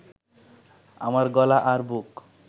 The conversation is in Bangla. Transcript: আমার গলা আর বুক